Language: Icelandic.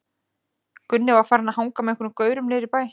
Gunni var farinn að hanga með einhverjum gaurum niðri í bæ.